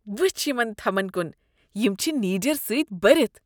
وٕچھ یمن تھمن کن۔ یم چھ نیٖجرٕ سۭتۍ بٔرتھ۔